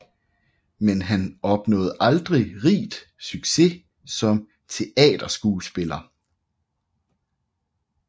Men han opnåede aldrig rigt succes som teaterskuespiller